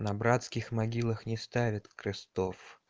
на братских могилах не ставят крестов